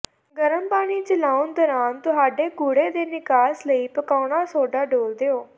ਗਰਮ ਪਾਣੀ ਚਲਾਉਣ ਦੌਰਾਨ ਤੁਹਾਡੇ ਕੂੜੇ ਦੇ ਨਿਕਾਸ ਲਈ ਪਕਾਉਣਾ ਸੋਡਾ ਡੋਲ੍ਹ ਦਿਓ